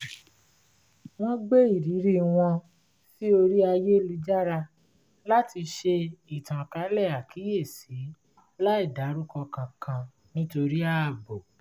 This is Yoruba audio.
wọ́n gbé irírí wọn sí orí ayélujára láti ṣe ìtànkálẹ̀ àkíyèsi láì dárúkọ kankan nítorí ààbò